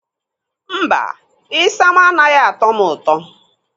Mba, isam anaghị atọ m ụtọ.